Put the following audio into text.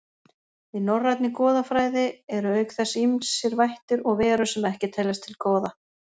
Í norrænni goðafræði eru auk þess ýmsir vættir og verur sem ekki teljast til goða.